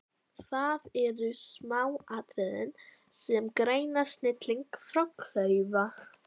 Það eru smáatriðin sem greina snilling frá klaufa.